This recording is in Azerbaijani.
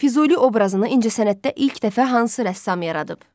Füzuli obrazını incəsənətdə ilk dəfə hansı rəssam yaradıb?